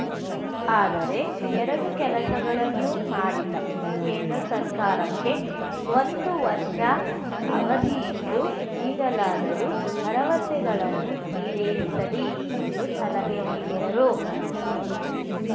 ಆದರೆ ಎರಡೂ ಕೆಲಸಗಳನ್ನು ಮಾಡಿಲ್ಲ ಕೇಂದ್ರ ಸರ್ಕಾರಕ್ಕೆ ಒಂದು ವರ್ಷ ಅವಧಿಯಿದ್ದು ಈಗಲಾದರೂ ಭರವಸೆಗಳನ್ನು ಈಡೇರಿಸಲಿ ಎಂದು ಸಲಹೆ ನೀಡಿದರು